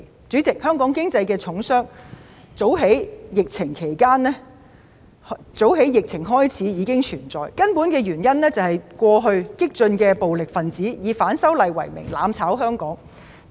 主席，香港經濟的重傷早於疫情開始已經存在，根本原因是過去激進暴力分子以反修例為名，"攬炒"香港。